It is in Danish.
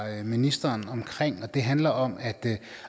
ministeren og det handler om at